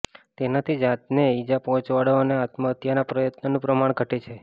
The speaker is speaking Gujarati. તેનાથી જાતને ઇજા પહોંચાડવાના અને આત્મહત્યાના પ્રયત્નોનું પ્રમાણ ઘટે છે